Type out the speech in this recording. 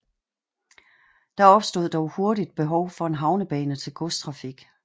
Der opstod dog hurtigt behov for en havnebane til godstrafik